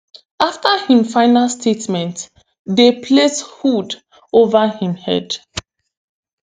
afta im final statement dey place hood ova im head